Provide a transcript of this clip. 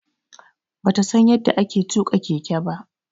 Bata San yadda ake tuka Keke ba.